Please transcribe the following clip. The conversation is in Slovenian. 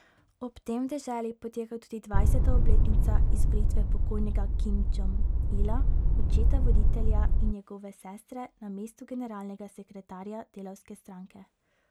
Ob tem v deželi poteka tudi dvajseta obletnica izvolitve pokojnega Kim Džong Ila, očeta voditelja in njegove sestre, na mesto generalnega sekretarja delavske stranke.